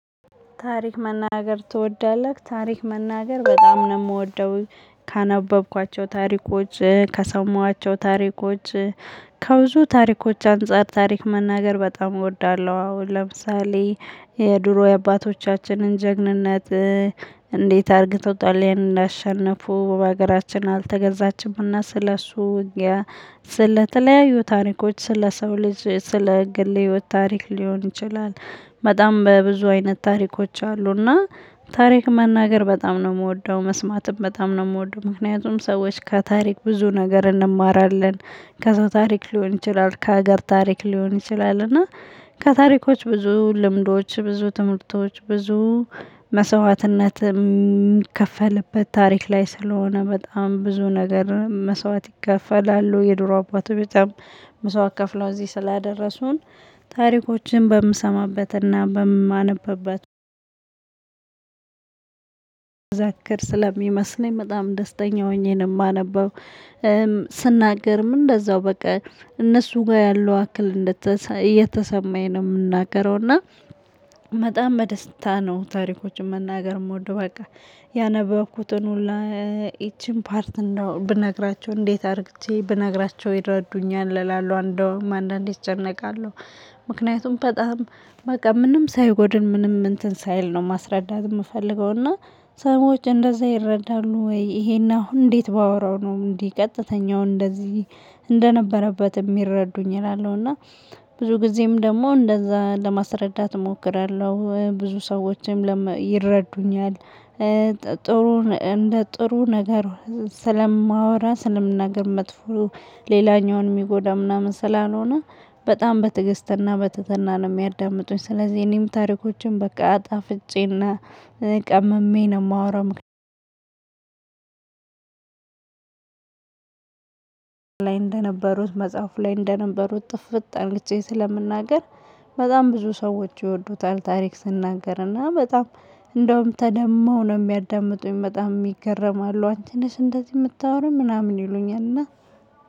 ታሪክ መናገር ትወዳለህ? ታሪክ መናገር በጣም ነው የምወደው ካነበብኳቸው ታሪኮች ከሰማኋቸው ታሪኮች ከብዙ ታሪኮች አንፃር ታሪክ መናገር በጣም እወዳለሁ። አሁን ለምሳሌ የድሮ የአባቶቻችንን ጀግንነት። እንዴት አርግተው ጣሊያንን እንዳሸነፉ በሀገራችን አልተገዛችምና ስለሱ ውጊያ ስለተለያዩ ታሪኮች ስለ ሰው ልጅ ስለ ግል ህይወት ታሪክ ሊሆን ይችላል። በጣም በብዙ አይነት ታሪኮች አሉና። ታሪክ መናገር በጣም ነው የምወደው መስማትም በጣም ነው የምወደው። ምክንያቱም ሰዎች ከታሪክ ብዙ ነገር እንማራለን። ከሰው ታሪክ ሊሆን ይችላል ከሀገር ታሪክ ሊሆን ይችላል። እና ከታሪኮች ብዙ ልምዶች ብዙ ትምህርቶች ብዙ መስዋዕትነት የሚከፈልበት ታሪክ ላይ ስለሆነ በጣም ብዙ ነገር መስዋዕት ይከፈላሉ። የድሮ አባቶች በጣም መስዋዕት ከፍለው እዚህ ስላደረሱን። ታሪኮችን በምሰማበትና በማነብበት ዘክር ስለሚመስለኝ በጣም ደስተኛ ሆኜ ነው የማነበው። ስናገርም እንደዛው በቃ እነሱ ጋር ያለው አክል እየተሰማኝ ነው እምናገረው። እና በጣም በደስታ ነው ታሪኮችን መናገር የምወደው። በቃ ያነበብኩትን ሁላ ይቺን ፓርት እንደው ብነግራቸው እንዴት አድርግቼ ብነግራቸው ይረዱኛል እላለሁ። እንደውም አንዳንዴ እጨነቃለሁ። ምክንያቱም በጣም በቃ ምንም ሳይጎድል ምንም እንትን ሳይል ነው ማስረዳት የምፈልገው። እና ሰዎች እንደዛ ይረዳሉ ወይ? ይሄን አሁን እንዴት ባወራው ነው እንዲህ ቀጥተኛው እንደዚህ እንደነበረበት የሚረዱኝ እላለሁ። እና ብዙ ጊዜም ደግሞ እንደዛ ለማስረዳት እሞክራለሁ ብዙ ሰዎችም ይረዱኛል። ጥሩ እንደ ጥሩ ነገር ስለማወራ ስለምናገር መጥፎ ሌላኛውን የሚጎዳ ምናምን ስላልሆነ በጣም በትግስትና በትህትና ነው የሚያዳምጡኝ። ስለዚህ እኔም ታሪኮችን በቃ አጣፍጬና ቀምሜ ነው የማወራው። ላይ እንደነበሩት መጽሐፉ ላይ እንደነበሩት ጥፍጥ አርግቼ ስለምናገር በጣም ብዙ ሰዎች ይወዱታል። ታሪክ ስናገርና በጣም እንደውም ተደመው ነው የሚያዳምጡኝ በጣም ይገረማሉ። አንቺ ነሽ እንደዚህ የምታወራ ምናምን ይሉኛል። እና